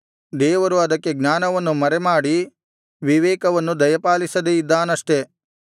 ದೇವರು ಅದಕ್ಕೆ ಜ್ಞಾನವನ್ನು ಮರೆಮಾಡಿ ವಿವೇಕವನ್ನು ದಯಪಾಲಿಸದೆ ಇದ್ದಾನಷ್ಟೆ